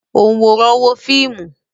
Ònwòran wo fíìmù